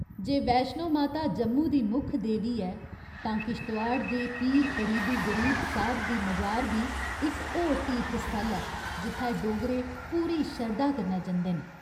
जे वैश्णो माता जम्मू दी मुक्ख देवी ऐ, तां किश्तवाड़ दे पीर फरीद उ गरीब साहिब दी मजार बी इक होर तीर्थस्थल ऐ जित्थै डोगरे पूरी शरधा कन्नै जंदे न।